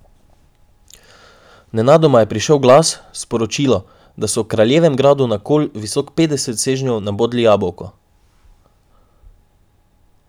Nenadoma je prišel glas, sporočilo, da so v kraljevem gradu na kol, visok petdeset sežnjev nabodli jabolko.